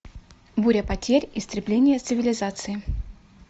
буря потерь истребление цивилизации